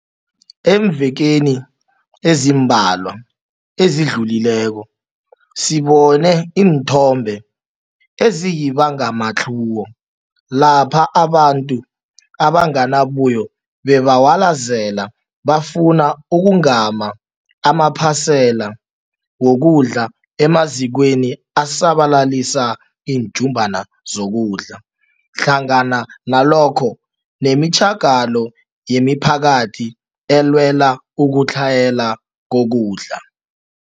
Eemvekeni ezimbalwa ezidluleko, sibone iinthombe eziyibangamatlhuwo lapha abantu abanganabuyo bebawalazela bafuna ukugama amaphasela wokudla emazikweni asabalalisa iinjumbana zokudla hlangana nalokho nemitjhagalo yemiphakathi elwela ukutlhayela kokudla.